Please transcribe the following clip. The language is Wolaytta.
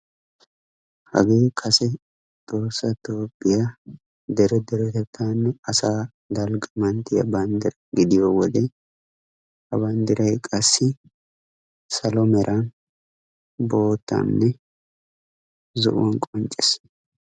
Hagee kase tohossa toophphiya dere deretettaanne asaa dalgga manttiya banddira gidiyo wode, ha banddiray qassi salo mera, boottanne zo'uwan qoncces.